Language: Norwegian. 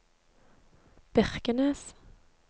Birkenes